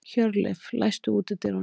Hjörleif, læstu útidyrunum.